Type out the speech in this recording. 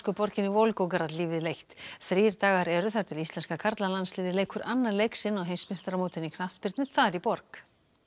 borginni Volgograd lífið leitt þrír dagar eru þar til íslenska karlalandsliðið leikur annan leik sinn á heimsmeistaramótinu í knattspyrnu þar í borg